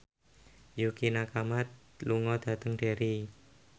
Yukie Nakama lunga dhateng Derry